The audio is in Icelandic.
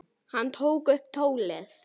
Hann tók upp tólið.